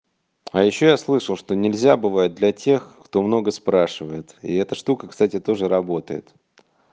а ещё я слышал что нельзя бывает для тех кто много спрашивает и это штука кстати тоже работает